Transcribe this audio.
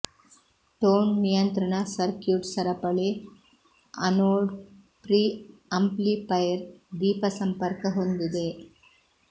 tone ನಿಯಂತ್ರಣ circuit ಸರಪಳಿ anode preamplifier ದೀಪ ಸಂಪರ್ಕ ಹೊಂದಿದೆ